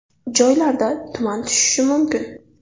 Joylarda tuman tushishi mumkin.